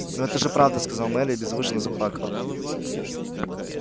но это же правда сказала мелли и беззвучно заплакала